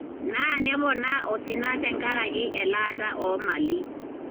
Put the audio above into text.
naa nepoona osina tenkaraki elaata o malii.